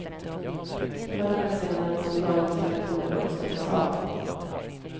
Förr eller senare måste dagens reaktorer dock stängas av.